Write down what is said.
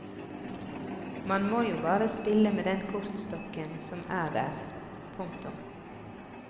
Man må jo bare spille med den kortstokken som er der. punktum